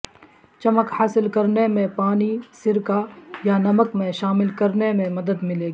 چمک حاصل کرنے میں پانی سرکہ یا نمک میں شامل کرنے میں مدد ملے گی